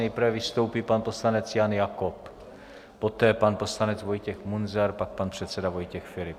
Nejprve vystoupí pan poslanec Jan Jakob, poté pan poslanec Vojtěch Munzar, pak pan předseda Vojtěch Filip.